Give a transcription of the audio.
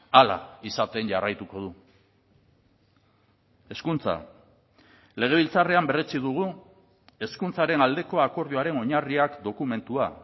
hala izaten jarraituko du hezkuntza legebiltzarrean berretsi dugu hezkuntzaren aldeko akordioaren oinarriak dokumentua